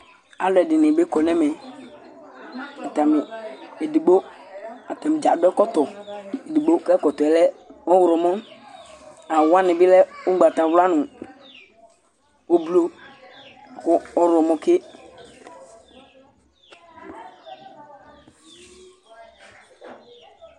alo ɛdini bi kɔ n'ɛmɛ atani edigbo atani dza adu ɛkɔtɔ edigbo k'ɛkɔtɔ yɛ lɛ ɔwlɔmɔ awu wani bi lɛ ugbata wla no ublu kò ɔwlɔmɔ ke